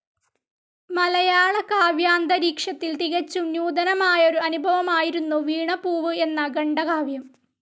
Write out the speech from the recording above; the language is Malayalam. മലയാള കാവ്യാന്തരീക്ഷത്തിൽ തികച്ചും നൂതനമായൊരു അനുഭവമായിരുന്നു വീണപൂവ് എന്ന ഖണ്ഡകാവ്യം.